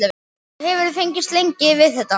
Og hefurðu fengist lengi við þetta?